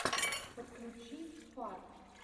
подключи фарт